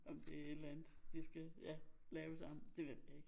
Om det et eller andet de skal ja lave sammen det ved jeg ikke